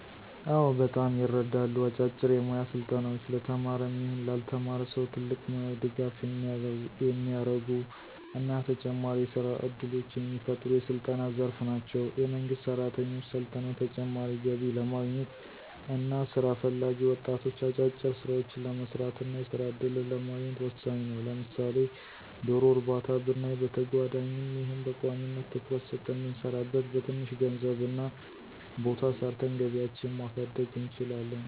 አዎ በጣም ይረዳሉ። አጫጭር የሞያ ስልጠናዎች ለተማረም ይሁን ላልተማረ ሰው ትልቅ ሙያዊ ድጋፍ የሚያረጉ እና ተጨማሪ የስራ እድሎችን የሚፈጥሩ የስልጠና ዘርፍ ናቸው። የመንግስት ሰራተኞች ሰልጥነው ተጨማሪ ገቢ ለማግኘት እና ስራ ፈላጊ ወጣቶች አጫጭር ስራዎችን ለመስራት እና የስራ እድልን ለማግኘት ወሳኝ ነው። ለምሳሌ ዶሮ እርባታ ብናይ በተጓዳኝም ይሁን በቋሚነት ትኩረት ሰጠን ብንሰራበት በትንሽ ገንዘብ እና ቦታ ሰርተን ገቢያችን ማሳደግ እንችላለን።